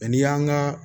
n'i y'an ka